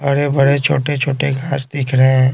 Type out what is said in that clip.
बड़े-बड़े छोटे-छोटे घास दिख रहे हैं।